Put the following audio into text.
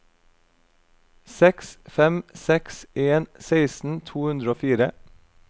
seks fem seks en seksten to hundre og fire